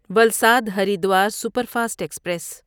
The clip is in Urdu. Valsad Haridwar superfast express